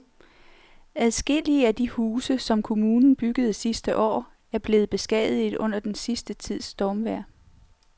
Adskillige af de huse, som kommunen byggede sidste år, er blevet beskadiget under den sidste tids stormvejr.